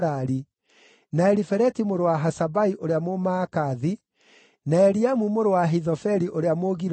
na Elifeleti mũrũ wa Ahasabai ũrĩa Mũmaakathi, na Eliamu mũrũ wa Ahithofeli ũrĩa Mũgiloni,